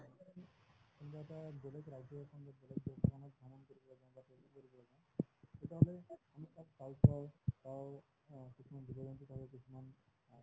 বেলেগ ৰাজ্য এখন তেতিয়াহলে কি তাত অ কিছুমান জীৱ-জন্তু তাৰে কিছুমান